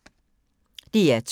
DR2